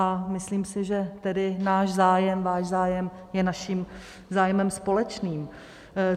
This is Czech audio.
A myslím si, že tedy náš zájem, váš zájem je naším zájmem společným.